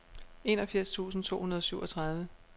enogfirs tusind to hundrede og syvogtredive